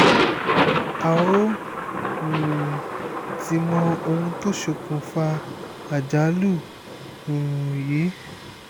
a ò um tí ì mọ ohun tó ṣokùnfà àjálù um yìí